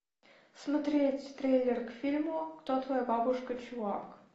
смотреть трейлер к фильму кто твоя бабушка чувак